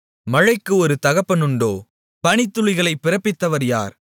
மழைக்கு ஒரு தகப்பனுண்டோ பனித்துளிகளைப் பிறப்பித்தவர் யார்